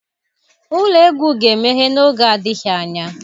Ụlọ egwu ga-emeghe n'oge adịghị anya